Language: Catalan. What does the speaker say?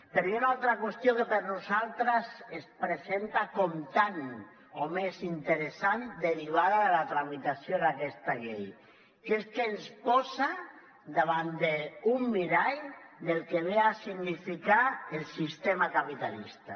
però hi ha una altra qüestió que per a nosaltres es presenta com tant o més interessant derivada de la tramitació d’aquesta llei que és que ens posa davant d’un mirall del que ve a significar el sistema capitalista